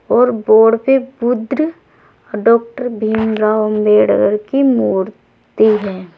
और बोर्ड पे बुद्र और डाक्टर भीमराव अंबेडकर की मूर्ति है।